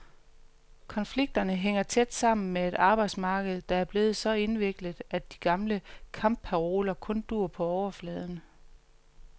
Konflikterne hænger tæt sammen med et arbejdsmarked, der er blevet så indviklet, at de gamle kampparoler kun duer på overfladen.